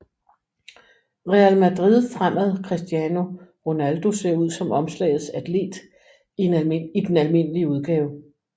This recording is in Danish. Real Madrid fremad Cristiano Ronaldo ser ud som omslagets atlet i den almindelige udgave